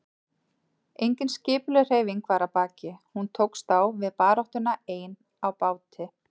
Engin skipulögð hreyfing var að baki, hún tókst á við baráttuna ein á báti.